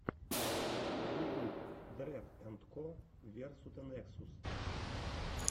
ютюб дрэд энд ко версута нексус